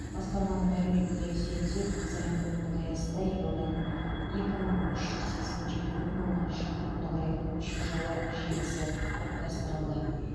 басқарманың мәліметіне сүйенсек дизайн кодтың аясында елорданың екі мың үш жүз сексен жеті бүтін оннан үш шақырымды құрайтын көше жолы желісі топтастырылды